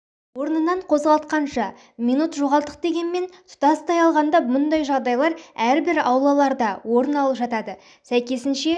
орнынан қозғалтқанша минут жоғалттық дегенмен тұтастай алғанда бұндай жағдайлар әрбір аулаларда орын алып жатады сәйкесінше